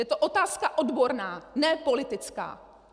Je to otázka odborná, ne politická!